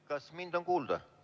Kas mind on kuulda?